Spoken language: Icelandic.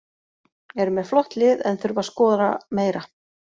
Eru með flott lið en þurfa að skora meira.